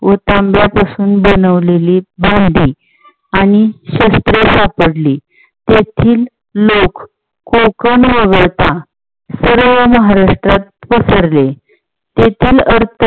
व तांब्या पासून बनवलेली भांडी आणि शस्त्रे सापडली. तेथील लोक कोकण वगळता सर्व महाराष्ट्रात पसरली. तेथील लोकं